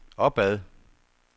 opad